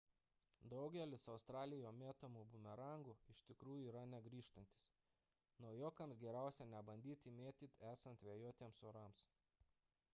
daugelis australijoje mėtomų bumerangų iš tikrųjų yra negrįžtantys naujokams geriausiai nebandyti mėtyti esant vėjuotiems orams